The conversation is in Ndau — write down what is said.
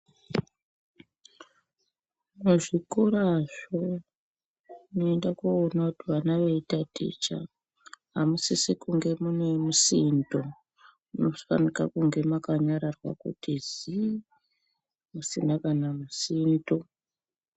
Muzvikora zvo munoenda koona kuti vana vachitaticha hamusisi kunge mune musindo munofanira kunyararwa kuti zii musina kana musindo.